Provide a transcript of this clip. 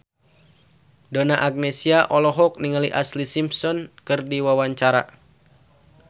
Donna Agnesia olohok ningali Ashlee Simpson keur diwawancara